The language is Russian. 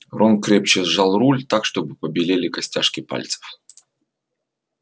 рон крепче сжал руль так чтобы побелели костяшки пальцев